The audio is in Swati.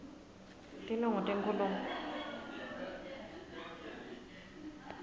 tinongo tenkhulumo